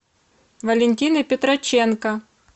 валентины петроченко